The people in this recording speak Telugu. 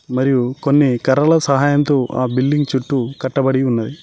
మరియు కొన్ని కర్రల సహాయంతో ఆ బిల్డింగ్ చుట్టూ కట్టబడి ఉన్నది.